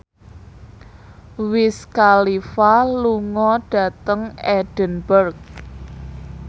Wiz Khalifa lunga dhateng Edinburgh